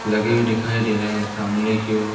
लगे हुए दिखाई दे रहे हैं सामने की ओर--